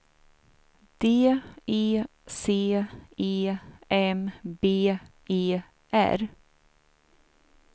D E C E M B E R